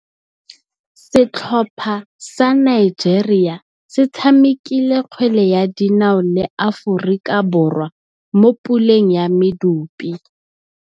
Setlhopha sa Nigeria se tshamekile kgwele ya dinaô le Aforika Borwa mo puleng ya medupe.